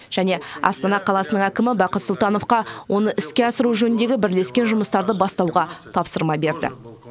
және астана қаласының әкімі бақыт сұлтановқа оны іске асыру жөніндегі бірлескен жұмыстарды бастауға тапсырма берді